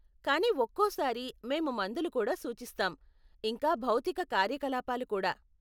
కానీ ఒక్కోసారి మేము మందులు కూడా సూచిస్తాం, ఇంకా భౌతిక కార్యకలాపాలు కూడా.